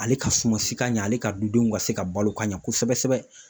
Ale ka suma si ka ɲɛ, ale ka dudenw ka se ka balo ka ɲɛ kosɛbɛ kosɛbɛ.